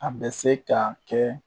A bɛ se ka kɛ